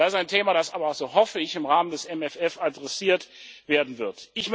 Das ist ein Thema, das aber so hoffe ich im Rahmen des MFRs adressiert werden